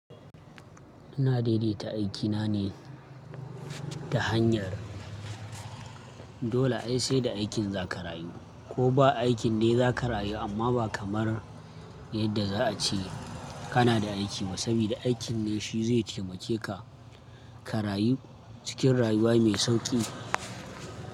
Ina daidaita aikina ne ta hanyar dole ai sai da aikin za ka rayu ko ba aikin ne za ka rayu amma ba kamar yadda za a ce kana da aiki ba saboda aikin ne shi zai taimake ka, ka rayu cikin rayuwa mai sauƙi.